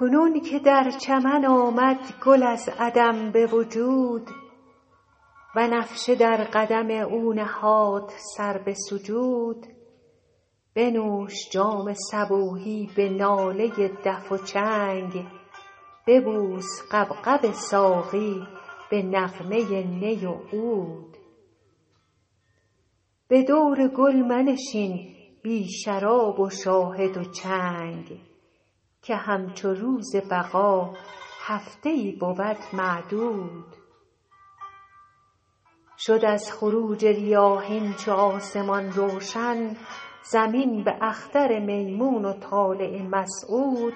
کنون که در چمن آمد گل از عدم به وجود بنفشه در قدم او نهاد سر به سجود بنوش جام صبوحی به ناله دف و چنگ ببوس غبغب ساقی به نغمه نی و عود به دور گل منشین بی شراب و شاهد و چنگ که همچو روز بقا هفته ای بود معدود شد از خروج ریاحین چو آسمان روشن زمین به اختر میمون و طالع مسعود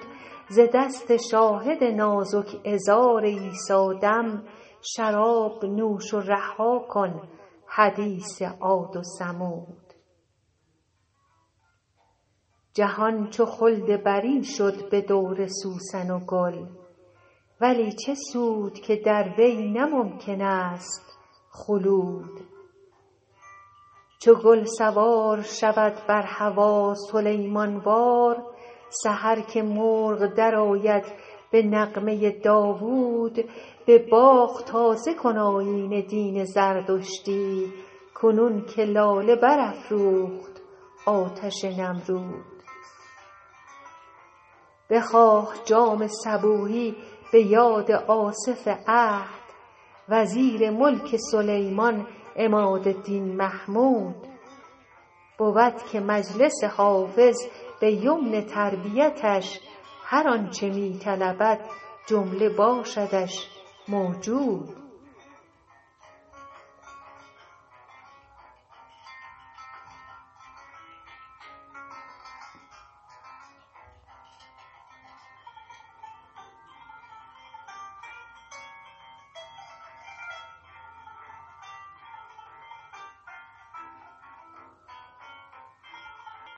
ز دست شاهد نازک عذار عیسی دم شراب نوش و رها کن حدیث عاد و ثمود جهان چو خلد برین شد به دور سوسن و گل ولی چه سود که در وی نه ممکن است خلود چو گل سوار شود بر هوا سلیمان وار سحر که مرغ درآید به نغمه داوود به باغ تازه کن آیین دین زردشتی کنون که لاله برافروخت آتش نمرود بخواه جام صبوحی به یاد آصف عهد وزیر ملک سلیمان عماد دین محمود بود که مجلس حافظ به یمن تربیتش هر آن چه می طلبد جمله باشدش موجود